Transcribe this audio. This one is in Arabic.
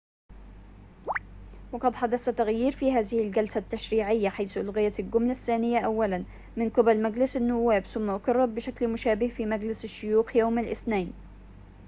وقد حدث تغيير في هذه الجلسة التشريعيّة حيث أُلغيت الجملة الثّانية أوّلاً من قِبل مجلس النوّاب ثم أُقِرّت بشكل مشابه في مجلس الشّيوخ يوم الاثنين